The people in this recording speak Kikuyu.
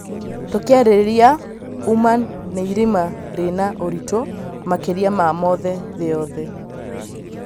Tũkiarĩrĩria ũma nĩirima rĩĩna ũrito makĩria ma mothe thĩ yothe